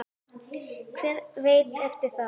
Hver veit eftir það?